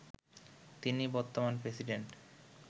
তিনি বর্তমান প্রেসিডেন্ট